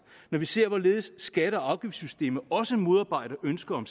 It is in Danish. når vi ser hvorledes skatte og afgiftssystemet også modarbejder ønsket om